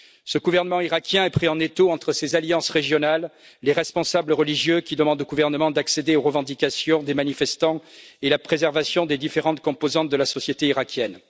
Ce gouvernement iraquien est pris en étau entre ses alliances régionales, les responsables religieux qui demandent au gouvernement d'accéder aux revendications des manifestants, et la préservation des différentes composantes de la société iraquienne.